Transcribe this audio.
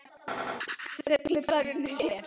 Fuglinn þar unir sér.